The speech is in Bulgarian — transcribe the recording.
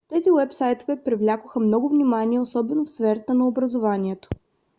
тези уебсайтове привлякоха много внимание особено в сферата на образованието